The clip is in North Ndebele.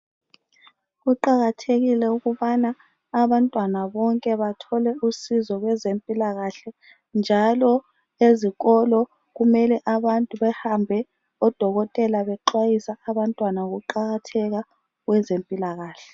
Kuqakathekile ukubana abantwana bonke bathole usizo kwezempilakahle njalo ezikolo kumele abantu behambe odokotela bexwayisa abantwana ngokuqakatheka kwezempilakahle.